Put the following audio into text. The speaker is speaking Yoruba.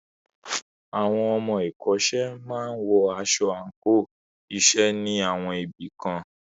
Àwọn ọmọ ìkọ́ṣẹ́ máa wọ aṣọ àńkò iṣẹ́ ní àwọn ibì kan.